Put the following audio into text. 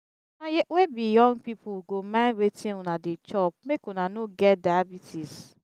una wey be young pipu go mind wetin una dey chop make una no get diabetes.